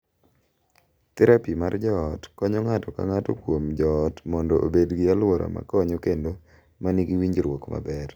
Therapi mar joot konyo ng’ato ka ng’ato kuom joot mondo obed gi alwora ma konyo kendo ma nigi winjruok maber,